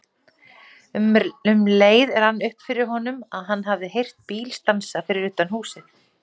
Um leið rann upp fyrir honum að hann hafði heyrt bíl stansa fyrir utan húsið.